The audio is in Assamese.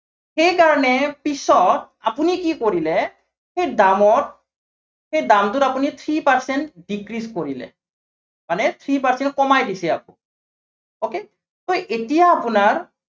সেই কাৰনে, পিছত আপুনি কি কৰিলে, সেই দামত সেই দামটোত আপুনি three percent decrease কৰিলে। মানে three percent কমাই দিছে আপুনি। okay, so এতিয়া আপোনাৰ